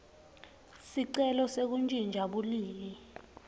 sicelo sekuntjintja bulili